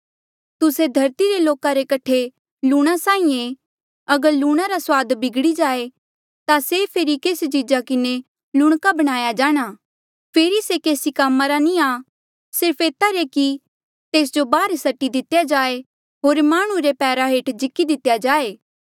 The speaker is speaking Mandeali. तुस्से धरती रे लोका रे कठे लूणां साहीं ऐें अगर लूणा रा सुआद बिगड़ी जाए ता से फेरी केस चीजा किन्हें लूणका बणाया जाणा फेरी से केसी कामा रा नी आ सिर्फ एता रे कि तेस जो बाहर सटी दितेया जाए होर माह्णुं रे पैरा हेठ जिकी दितेया जाए